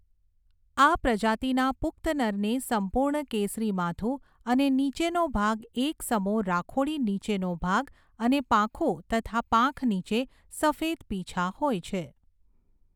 આ પ્રજાતિના પુખ્ત નરને સંપૂર્ણ કેસરી માથું અને નીચેનો ભાગ એક સમો રાખોડી નીચેનો ભાગ અને પાંખો તથા પાંખ નીચે સફેદ પીંછા હોય છે.